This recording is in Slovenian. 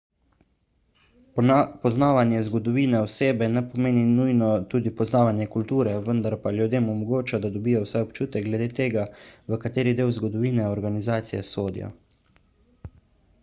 poznavanje zgodovine osebe ne pomeni nujno tudi poznavanja kulture vendar pa ljudem omogoča da dobijo vsaj občutek glede tega v kateri del zgodovine organizacije sodijo